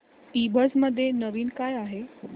ईबझ मध्ये नवीन काय आहे